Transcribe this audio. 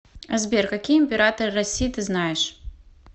сбер какие императоры россии ты знаешь